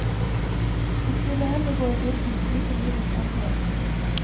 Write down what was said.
Han skulle heller gå i dybden, vise livets alvor.